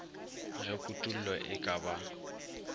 ge kutollo e ka ba